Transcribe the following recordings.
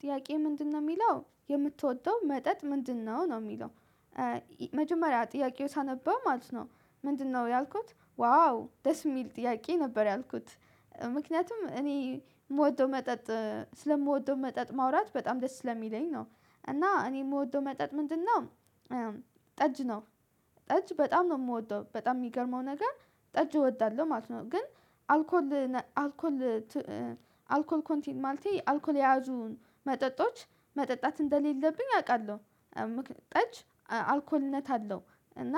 ጥያቄ ምንድነው የሚለው የምትወደው መጠጥ ምንድነው ነው የሚለው። መጀመሪያ ጥያቄው ሳነበው ማለት ነው። ምንድነው ያልኩት ዋው ደስ የሚል ጥያቄ ነበር ያልኩት ምክንያቱም እኔ የምወደው መጠጥ ስለምወደው መጠጥ ማውራት በጣም ደስ ስለሚለኝ ነው። እና እኔ የምወደው መጠጥ ምንድነው? ጠጅ ነው፤ ጠጅ በጣም ነው የምወደው። በጣም የሚገርመው ነገር ጠጅ እወዳለሁ ማለት ነው። ግን አልኮል አልኮል አልኮል ኮንቲንት ማለቴ አልኮል የያዙን መጠጦች መጠጣት እንደሌለብኝ አውቃለሁ። ምክንያት ጠጅ አልኮልነት አለው። እና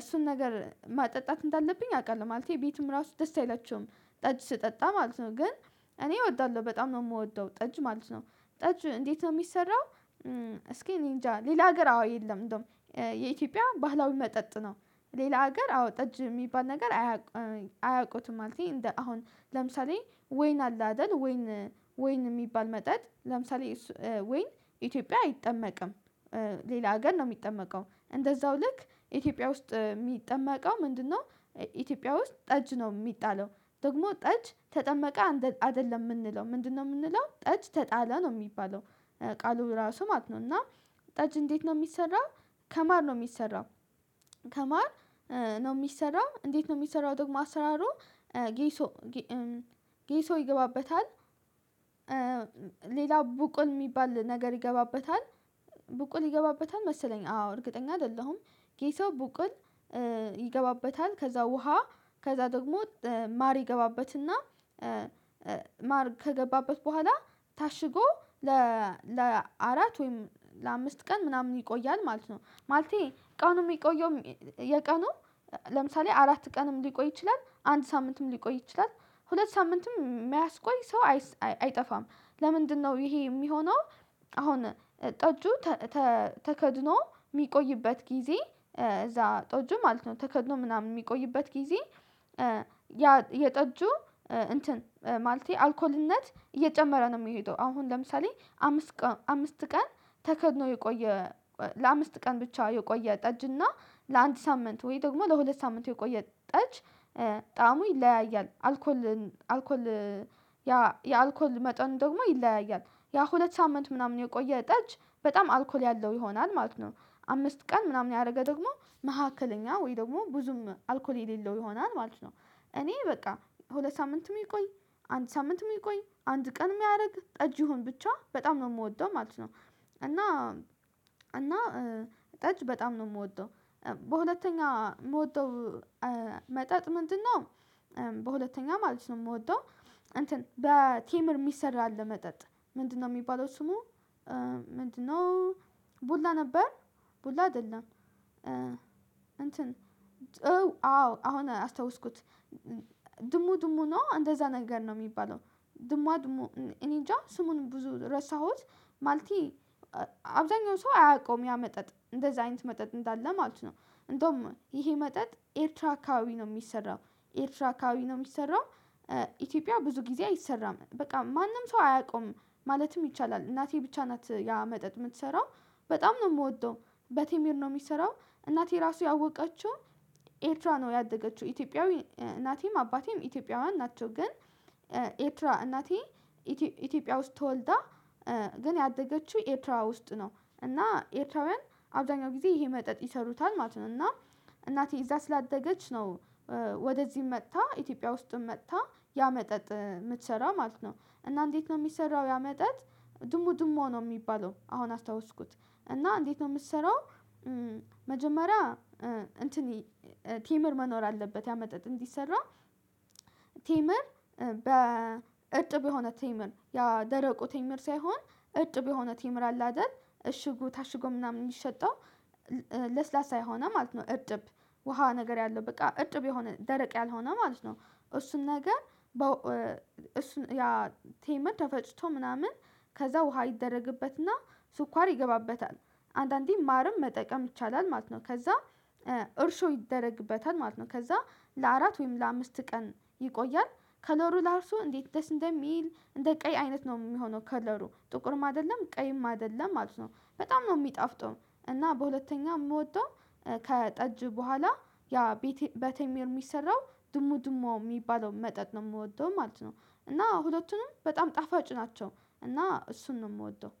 እሱን ነገር ማጠጣት እንዳለብኝ አውቃለሁ። ማለቴ ቤትም ራሱ ደስ አይላችሁም። ጠጅ ስጠጣ ማለት ነው ግን እኔ እወዳለሁ። በጣም ነው የምወደው ጠጅ ማለት ነው። ጠጅ እንዴት ነው የሚሰራው? እስኪ እኔ እንጃ ሌላ ሀገር አዎ የለም እንደውም የኢትዮጵያ ባህላዊ መጠጥ ነው። ሌላ ሀገር አዎ ጠጅ የሚባል ነገር አያውቁትም! ማለቴ እንደ አሁን ለምሳሌ ወይን አለ። አይደል ወይን ወይን የሚባል መጠጥ ለምሳሌ ወይን ኢትዮጵያ አይጠመቅም። ሌላ አገን ነው የሚጠመቀው። እንደዛው ልክ ኢትዮጵያ ውስጥ የሚጠመቀው ምንድነው? ኢትዮጵያ ውስጥ ጠጅ ነው የሚጣለው። ደግሞ ጠጅ ተጠመቀ አይደለም የምንለው ምንድነው የምንለው ጠጅ ተጣለ ነው የሚባለው። ቃሉ ራሱ ማት ነው እና ጠጅ እንዴት ነው የሚሰራው? ከማር ነው የሚሰራው ከማር ነው የሚሰራው። እንዴት ነው የሚሰራ? ደግሞ አሰራሩ ጌሶ ጌሶ ይገባበታል። ሌላ ቡቁል የሚባል ነገር ይገባበታል ቡቁል ይገባበታል። መሰለኝ አዎ! እርግጠኛ አይደለሁም። ጌቶ ቡቅን ይገባበታል ከዛ ውሃ ከዛ ደግሞ ማር ይገባበትና ማር ከገባበት በኋላ ታሽጎ ለአራት ወይም ለአምስት ቀን ምናምን ይቆያል ማለት ነው። ማለቴ ቀኑ የሚቆየው የቀኑ ለምሳሌ አራት ቀንም ሊቆይ ይችላል፣ አንድ ሳምንትም ሊቆይ ይችላል፣ ሁለት ሳምንትም፣ የሚያስቆይ ሰው አይጠፋም ለምንድነው ይሄ የሚሆነው? አሁን ጠጁ ተከድኖ የሚቆይበት ጊዜ እዛ ጠጁ ማለት ነው ተከድኖ ምናምን የሚቆይበት ጊዜ የጠጁ እንትን ማለቴ አልኮልነት እየጨመረ ነው። የሚሄደው አሁን ለምሳሌ አምስት ቀን ተከድኖ የቆየ ለአምስት ቀን ብቻ የቆየ ጠጅ እና ለአንድ ሳምንት ወይ ደግሞ ለሁለት ሳምንት የቆየ ጠጅ በጣም ይለያያል አልኮል አልኮል ያ የአልኮል መጠን ደግሞ ይለያያል። ያ ሁለት ሳምንት ምናምን የቆየ ጠጅ በጣም አልኮል ያለው ይሆናል። ማለት ነው አምስት ቀን ምናምን ያደረገ ደግሞ መካከለኛ ወይ ደግሞ ብዙም አልኮል የሌለው ይሆናል ማለት ነው። እኔ በቃ ሁለት ሳምንትም ይቆይ፣ አንድ ሳምንት የሚቆይ፣ አንድ ቀን የሚያደርግ፣ ጠጅ ይሁን ብቻ በጣም የምወደው ማለት ነው። እና እና ጠጅ በጣም ነው የምወደው። በሁለተኛው የምወደው መጠጥ ምንድነው? በሁለተኛ ማለት ነው የምወደው እንትን በቴመር የሚሰራ አለ መጠጥ ምንድነው? የሚባለው ስሙ ምንድነው? ቡላ ነበር ቡላ አይደለም። እንትን አዎ አሁን አስታውስኩት ድሙ ድሙ ነው እንደዛ ነገር ነው። የሚባለው ድሟ ድሞ እኔንጃ ስሙን ብዙ ረሳሁት ማልቴ አብዛኛው ሰው አያውቀውም ያ መጠጥ እንደዛ አይነት መጠጥ እንዳለ ማለት ነው። እንደውም ይሄ መጠጥ ኤርትራ አካባቢ ነው የሚሰራው። ኤርትራ አካባቢ ነው የሚሰራው። ኢትዮጵያ ብዙ ጊዜ አይሰራ። በቃ ማንም ሰው አያውቀውም። ማለትም ይቻላል። እናቴ ብቻ ናት ያ መጠጥ የምትሰራው። በጣም ነው የምወደው በቴሚር ነው የሚሰራው። እናቴ ራሱ ያወቀችው ኤርትራ ነው ያደገችው ኢትዮጵያዊ እናቴም አባቴም ኢትዮጵያውያን ናቸው። ግን ኤርትራ እናቴ ኢትዮጵያ ውስጥ ተወልዳ ግን ያደገችው ኤርትራ ውስጥ ነው እና ኤርትራውያን አብዛኛው ጊዜ ይሄ መጠጥ ይሰሩታል ማለት ነው። እና እናቴ እዛ ስላደገች ነው ወደዚህ መጥታ ኢትዮጵያ ውስጥም መጥታ ያ መጠጥ የምትሰራ ማለት ነ። እና እንዴት ነው የሚሰራው ያ መጠጥ ድሙ ድሙ ነው የሚባለው። አሁን አስታውስኩት እና እንዴት ነው የምትሰራው? መጀመሪያ እንትን ቴምር መኖር አለበት። ያ መጠጥ እንዲሰራ ቴምር በ እርጥብ የሆነ ቴምርምር ያ ደረቁ ትምር ሳይሆን እጥብ የሆነ ትምር አለ አይደል እሽጉ ታሽጉ ምናምን የሚሸጠው? ለስላሳ የሆነ ማለት ነው እርጥብ ውሃ ነገር ያለው በቃ እጥብ የሆነ ደረቅ ያልሆነ ማለት ነው። እሱን ነገር እሱን ያ ቴምር ተፈጭቶ ምናምን ከዛ ውሃ ይደረግበትና ስኳር ይገባበታል። አንዳንዴ ማርም መጠቀም ይቻላ። ማለት ነው ከዛ እርሾ ይደረግበታል ማለት ነው። ከዛ ለአራት ወይም ለአምስት ቀን ይቆያል። ከለሩ እራሱ እንዴት ደስ እንደሚል እንደ ቀይ አይነት ነው የሚሆነው። ከለሩ ጥቁርም አይደለ፣ ቀይም አይደለም ማለት ነው። በጣም ነው የሚጣፍጠው እና በሁለተኛ የምወደው ከጠጅ በኋላ ያ በቴምር የሚሰራው ድሙድሙ የሚባለው መጠጥ ነው። የምወደው ማለት ነው። እና ሁለቱንም በጣም ጣፋጭ ናቸው እና እሱን ነው የምወደው።